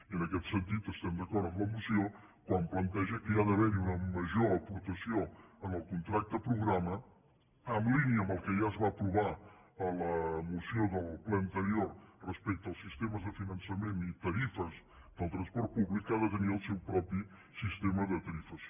i en aquest sentit estem d’acord amb la moció quan planteja que ha d’haver hi una major aportació en el contracte programa en línia amb el que ja es va aprovar a la moció del ple anterior respecte als sistemes de finançament i tarifes del transport públic que ha de tenir el seu propi sistema de tarifació